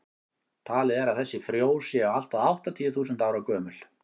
talið er að þessi frjó séu allt að áttatíu þúsund ára gömul